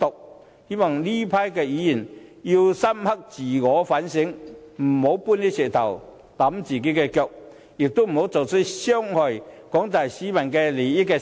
我希望這群議員會深刻自我反省，不要搬石頭砸自己的腳，亦不要做出傷害廣大市民利益的事。